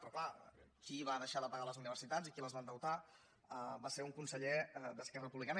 però clar qui va deixar de pagar les universitats i qui les va endeutar va ser un conseller d’esquerra republicana